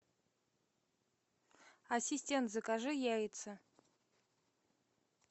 ассистент закажи яйца